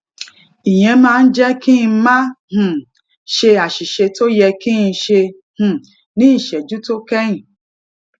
ìyẹn máa ń jé kí n má um ṣe àṣìṣe tó yẹ kí n ṣe um ní ìṣéjú to kéyìn